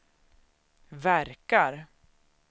verkar